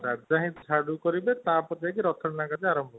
ଝାଡୁ କରିବେ ତାପରେ ତା ପରେ ଯାଇକି ରଥ ଟଣା ଆରମ୍ଭ ହବ